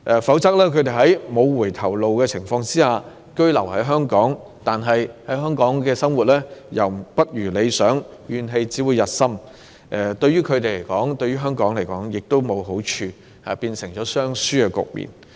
否則，他們在沒有回頭路的情況下居於香港，但在港生活卻不如理想，怨氣只會日深，這對他們以至對香港均沒有好處，會造成雙輸局面。